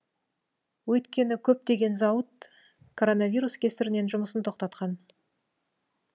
өйткені көптеген зауыт коронавирус кесірінен жұмысын тоқтатқан